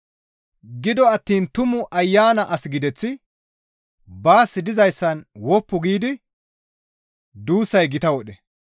Gido attiin Tumu Ayana as gideththi nuus dizayssan woppu giidi duussara gita wodhe.